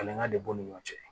Falenka de b'u ni ɲɔgɔn cɛ